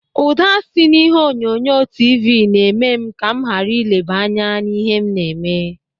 Ụda si n'ihe onyonyo tiivii na-eme m ka m ghara ịleba anya n'ihe m na-eme.